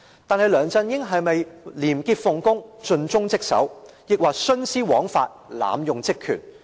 但是，梁振英是否廉潔奉公，盡忠職守？抑或是徇私枉法，濫用職權？